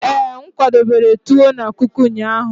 ee, m kwadobere tuwo na kuku ụnyaahụ?